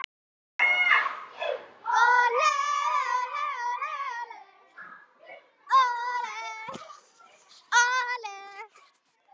Hún er frjáls.